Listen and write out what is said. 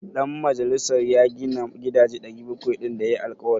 Dan majalisar ya gina gidaje 700 din da ya yi alkawari?